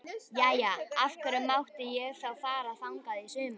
Jæja, af hverju mátti ég þá fara þangað í sumar?